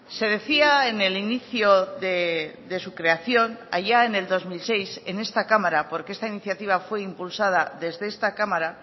se decía en el inicio de su creación allá en el dos mil seis en esta cámara porque esta iniciativa fue impulsada desde esta cámara